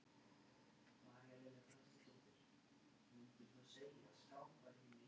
Frá stríðslokum og fram undir lok áttunda áratugarins komu um hálf milljón flóttamanna til landsins.